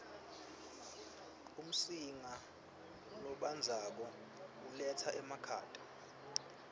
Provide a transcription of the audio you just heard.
umsinga lobandzako uletsa emakhata